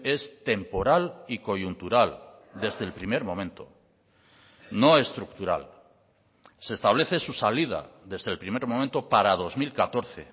es temporal y coyuntural desde el primer momento no estructural se establece su salida desde el primer momento para dos mil catorce